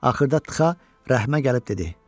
Axırda Txaa rəhmə gəlib dedi: